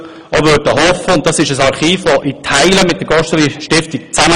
Das Archiv für Agrargeschichte arbeitet in Teilen mit der Gosteli-Stiftung zusammen.